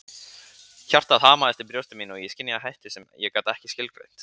Hjartað hamaðist í brjósti mínu og ég skynjaði hættu sem ég gat ekki skilgreint.